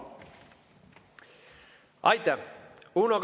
Aitäh!